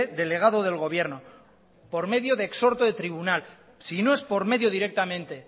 delegado del gobierno por medio de exhorto de tribunal si no es por medio directamente